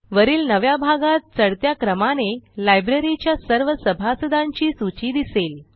वरील नव्या भागात चढत्या क्रमाने लायब्ररीच्या सर्व सभासदांची सूची दिसेल